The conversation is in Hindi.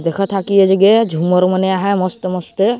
देख ते की ये जगह झूमर मन हे मस्त मस्त--